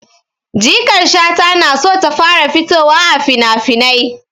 Jikar Shata na so ta fara fitowa a finafinai.